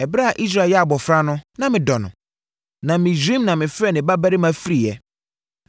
“Ɛberɛ a Israel yɛ abɔfra no, na me dɔ no, na Misraim na mefrɛɛ me babarima firiiɛ.